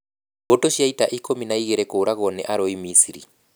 Mbũtũ cia ita ikũmi na igeerĩ kũũragwo nĩ arũi Misiri.